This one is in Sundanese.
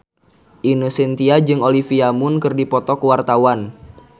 Ine Shintya jeung Olivia Munn keur dipoto ku wartawan